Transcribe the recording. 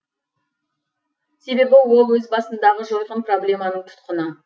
себебі ол өз басындағы жойқын проблеманың тұтқыны